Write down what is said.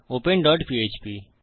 open dot PHP